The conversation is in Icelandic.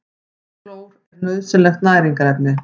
Klór er nauðsynlegt næringarefni.